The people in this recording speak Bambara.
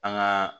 An gaa